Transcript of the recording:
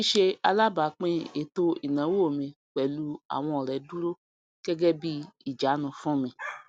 síṣe alábàápín ètò ìnáwó mi pẹlú àwọn ọrẹ dúró gẹgẹ bíi ìjánu fún mi